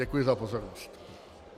Děkuji za pozornost.